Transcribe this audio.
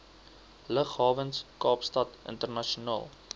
lughawens kaapstad internasionaal